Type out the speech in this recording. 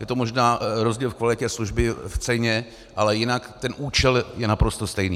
Je to možná rozdíl v kvalitě služby, v ceně, ale jinak ten účel je naprosto stejný.